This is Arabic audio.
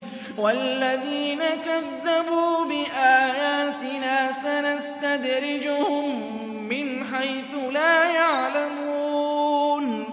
وَالَّذِينَ كَذَّبُوا بِآيَاتِنَا سَنَسْتَدْرِجُهُم مِّنْ حَيْثُ لَا يَعْلَمُونَ